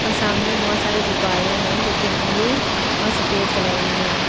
सामने बहुत सारे गुब्बारे हैं जो कि ब्लू और सफेद कलर में हैं।